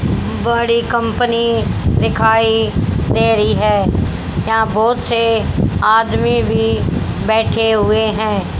बड़ी कंपनी दिखाई दे रही है यहां बहोत से आदमी भी बैठे हुए है।